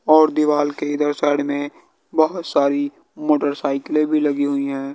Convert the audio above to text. और दिवाल के इधर साइड में बहोत सारी मोटरसाइकिले भी लगी हुई हैं।